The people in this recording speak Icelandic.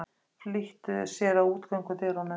Flýttu sér að útgöngudyrunum.